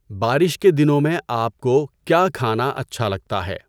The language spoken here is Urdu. بارش کے دنوں میں آپ کو کیا کھانا اچھا لگتا ہے؟